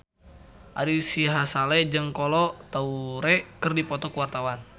Ari Sihasale jeung Kolo Taure keur dipoto ku wartawan